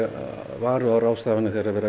varúðarráðstafanir þegar verið